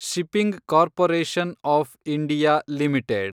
shipping Corporation of India limited